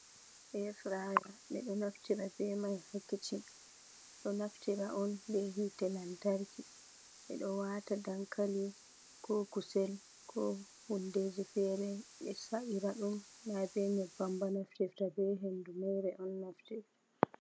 Eya firaya, ɓeɗo naftira be mai ha kichin, do naftira on behite lantarki ɓeɗo wata dankali ko kusel ko hundeji fere ɓe sa'ira ɗum na be nyebbam ba naftirta be hendu mere on naftirta.